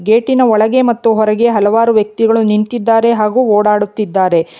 ಗೇಟಿನ ಒಳಗೆ ಮತ್ತು ಹೊರಗೆ ಹಲವಾರು ವ್ಯಕ್ತಿಗಳು ನಿಂತಿದ್ದಾರೆ ಹಾಗು ಓಡಾಡುತ್ತಿದ್ದಾರೆ.